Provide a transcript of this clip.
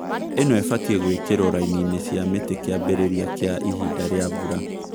Īno ĩfatie gũĩkĩrwo raininĩ cia mĩtĩ kĩambĩrĩria kĩa ihinda rĩa mbura